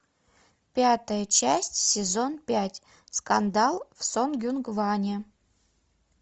пятая часть сезон пять скандал в сонгюнгване